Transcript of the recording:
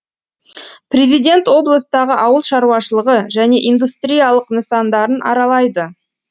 президент облыстағы ауыл шаруашылығы және индустриялық нысандарын аралайды